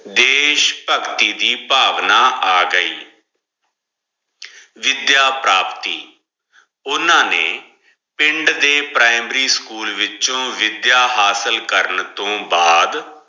ਦਯਿਸ਼ ਪਾਗਤੀ ਦੀ ਪਾਘਨਾ ਆ ਗਈ ਵਿਦ੍ਯਾ ਪ੍ਰੋਪੇਰ੍ਟੀ ਓਨਾ ਨੇ ਪਿੰਡ ਦੇ ਪ੍ਰਿਮਾਰੀ ਸਕੂਲ ਵਿਚੋ ਵਿਦ੍ਯਾ ਹਾਸਲ ਕਰਨ ਟੋਹ ਬਾਅਦ